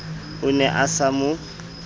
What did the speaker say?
o ne a sa mo